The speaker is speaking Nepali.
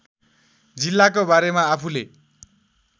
जिल्लाको बारेमा आफूले